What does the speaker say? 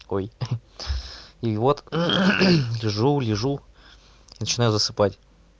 ой и вот лежу лежу начинаю засыпать